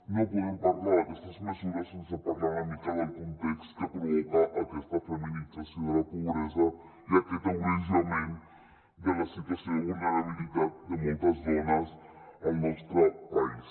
no podem parlar d’aquestes mesures sense parlar una mica del context que provoca aquesta feminització de la pobresa i aquest agreujament de la situació de vulnerabilitat de moltes dones al nostre país